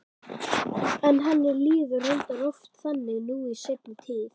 En henni líður reyndar oft þannig nú í seinni tíð.